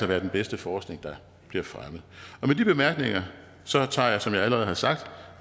være den bedste forskning der bliver fremmet med de bemærkninger tager jeg som jeg allerede har sagt